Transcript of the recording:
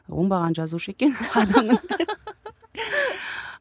оңбаған жазушы екен